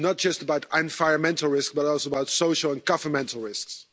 It's not just about environmental risks, but also about social and governmental risks.